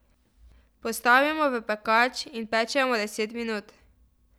Postavimo v pekač in pečemo deset minut.